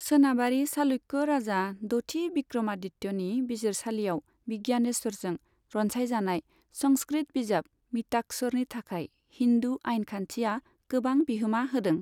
सोनाबारि चालुक्य राजा द'थि विक्रमादित्यनि बिजिरसालियाव विज्ञानेश्वरजों रनसायजानाय संस्कृत बिजाब मिताक्षरनि थाखाय हिन्दु आइन खान्थिया गोबां बिहोमा होदों।